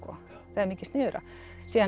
það er mikið sniðugra síðan